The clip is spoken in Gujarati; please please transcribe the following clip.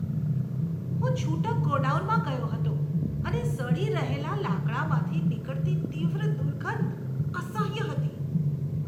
હું છૂટક ગોડાઉનમાં ગયો હતો અને સડી રહેલા લાકડામાંથી નીકળતી તીવ્ર દુર્ગંધ અસહ્ય હતી.